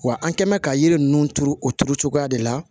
Wa an kɛ mɛn ka yiri ninnu turu o turu cogoya de la